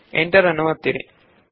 enter ಒತ್ತಿ